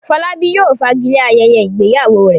Fọlábí yóò fagilé ayẹyẹ ìgbéyàwó rẹ̀.